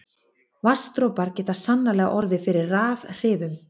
Vatnsdropar geta sannarlega orðið fyrir rafhrifum.